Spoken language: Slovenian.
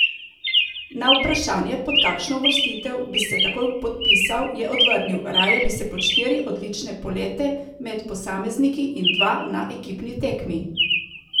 Na vprašanje, pod kakšno uvrstitev bi se takoj podpisal, je odvrnil: "Raje bi se pod štiri odlične polete med posamezniki in dva na ekipni tekmi.